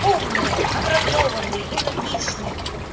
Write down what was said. умные образованные энергичные